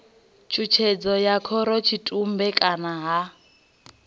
tshutshedzo ya khorotshitumbe kana ha